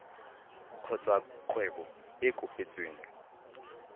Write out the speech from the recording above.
kgotsa kgwebo e e kopetsweng